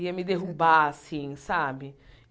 ia me derrubar assim, sabe?